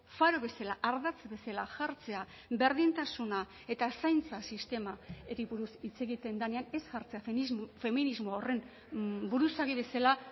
faro bezala ardatz bezala jartzea berdintasuna eta zaintza sistemari buruz hitz egiten denean ez jartzea feminismo horren buruzagi bezala